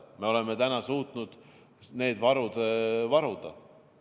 Me oleme suutnud need varud hankida.